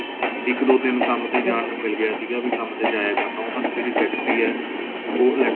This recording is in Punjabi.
ਇੱਕ ਦੋ ਦਿਨ ਕੰਮ ਤੇ ਜਾਂ ਨੂੰ ਮਿਲ ਗਿਆ ਸੀਗਾ ਵੀ ਕੰਮ ਤੇ ਜਾਇਆ ਕਰਨਾ ਉਹਨਾਂ ਦੀ ਜਿਹੜੀ ਫ਼ੈਕਟਰੀ ਹੈ ਉਹ electronics